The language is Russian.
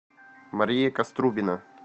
мария каструбина